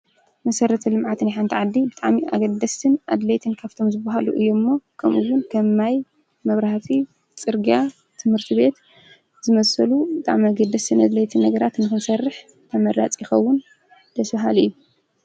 መሰረተ ልምዓት ናይ ሓንቲ ዓዲ ብጣዕሚ ኣገደስትን ኣድለይትን ካብቶም ዝበሃሉ እዩ እሞ ከምእውን ከም ማይ መብራህቲ ፅርግያ ትምህርትቤት ዝመሰሉ ብጣዕሚ ኣገደስቲ ኣድለይቲ ነገራት ንክንሰርሕ ተመራፂ ይኸውን ደስ በሃሊ እዩ ።